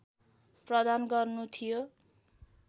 प्रदान गर्नु थियो